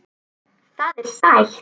Það er sætt.